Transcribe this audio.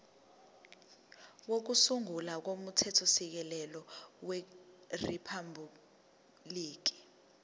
kokusungula komthethosisekelo weriphabhuliki